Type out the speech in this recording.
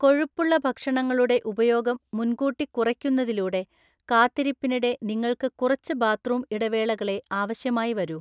കൊഴുപ്പുള്ള ഭക്ഷണങ്ങളുടെ ഉപയോഗം മുൻകൂട്ടി കുറയ്ക്കുന്നതിലൂടെ, കാത്തിരിപ്പിനിടെ നിങ്ങൾക്ക് കുറച്ച് ബാത്ത്റൂം ഇടവേളകളേ ആവശ്യമായി വരൂ.